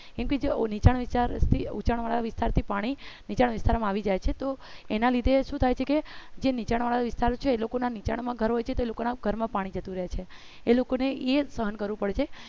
કેકે જે નીચા વાર વિસ્તાર ઊંચા વાર વિસ્તાર માં પાણી બીજા વિસ્તારમાં આવી જાય છે તો એના લીધે શું થાય છે કે જે નીચેના વિસ્તાર છે એ લોકોના નીચેનાણ ઘર માં પાણી ભરાય જાય છે તે લોકોના ઘરમાં પાણી જતું રહે છે એ લોકોને એ સહન કરવું પડશે